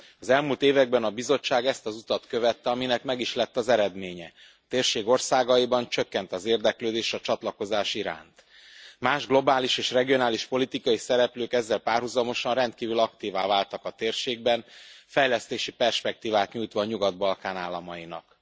Az elmúlt években a Bizottság ezt az utat követte, aminek meg is lett az eredménye a térség országaiban csökkent az érdeklődés a csatlakozás iránt. Más globális és regionális politikai szereplők ezzel párhuzamosan rendkívül aktívvá váltak a térségben, fejlesztési perspektívát nyújtva a Nyugat Balkán államainak.